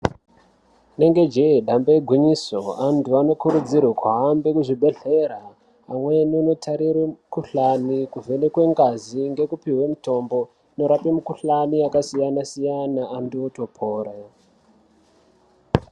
Rinenge jee dambe igwinyiso antu anokurudzirwe kuhambe kuzvibhehlera amweni anoarire mikhuhlani, kuvhenekwe ngazi ngekupihwe mitombo inorape mikhuhlani yakasiyana-siyana antu otopore.